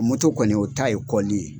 kɔni o ta ye kɔli ye.